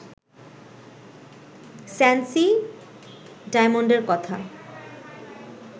Sancy ডায়মন্ডের কথা